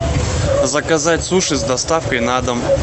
заказать суши с доставкой на дом